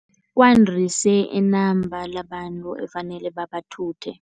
Kwandise inamba labantu okufanele babathuthe.